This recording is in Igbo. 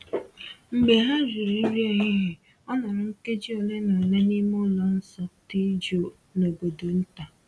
Mgbe ha riri nri ehihie, o nọrọ nkeji ole na ole n’ime ụlọ nsọ dị jụụ n’obodo nta.